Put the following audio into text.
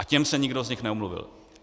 A těm se nikdo z nich neomluvil.